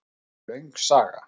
Það er löng saga.